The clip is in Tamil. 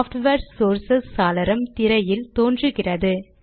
ஸாப்ட்வேர் சோர்சஸ் சாளரம் திரையில் தோன்றுகிறது